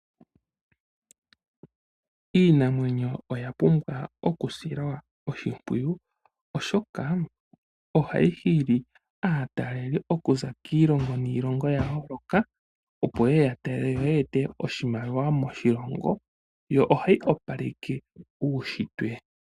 Iinamwenyo oya pumbwa oku silwa oshimpiyu, oshoka ohayi hili aatalelipo okuza kiilongo niilongo ya yooloka, opo ye ete oshimaliwa moshilongo. Yo ohayi opaleke uushintwe.